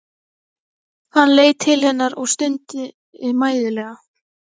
Hann leit til hennar og stundi mæðulega.